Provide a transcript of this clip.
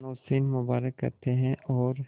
नौशीन मुबारक कहते हैं और